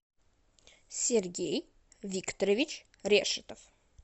сергей викторович решетов